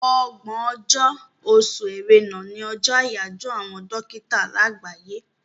Ọgbọ̀n ọjọ́, oṣù Ẹrẹ́nà, ní ọjọ́ àyájọ́ àwọn dókítà láàgbáyé.